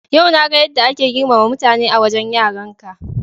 Yau na ga yadda ake girmama mutane a wajen yaranka.